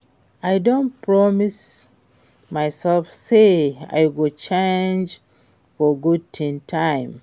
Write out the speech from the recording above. I don promise myself say I go change for good dis time